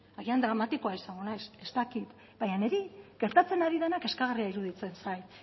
agian dramatikoa izango naiz ez dakit baina niri gertatzen ari denak kezkagarria iruditzen zait